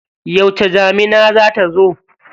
Yauce damuna za ta zo?